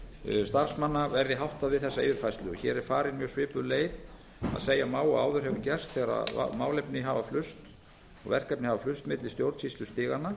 salnum starfsmanna verði háttað við þessa yfirfærslu hér er farin mjög svipuð leið að segja má að áður hefur gerst þegar málefni hafa flust og verkefni hafa flust milli stjórnsýslustiganna